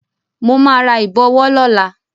Mo máa ra ìbọ̀wọ́ lọ́la.